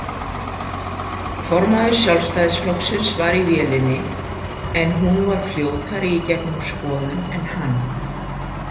Formaður Sjálfstæðisflokksins var í vélinni en hún var fljótari gegnum skoðun en hann.